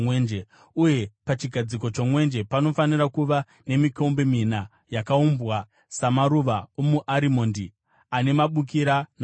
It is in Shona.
Uye pachigadziko chomwenje panofanira kuva nemikombe mina yakaumbwa samaruva omuarimondi ane mabukira namaruva.